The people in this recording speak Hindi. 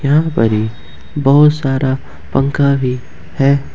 यहां पर ही बहुत सारा पंखा भी है।